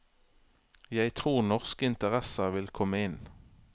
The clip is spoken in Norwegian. Jeg tror norske interesser vil komme inn.